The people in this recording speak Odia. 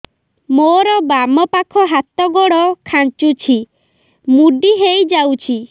ମୋର ବାମ ପାଖ ହାତ ଗୋଡ ଖାଁଚୁଛି ମୁଡି ହେଇ ଯାଉଛି